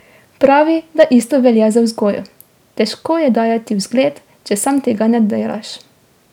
Pravi, da isto velja za vzgojo: "Težko je dajati vzgled, če sam tega ne delaš.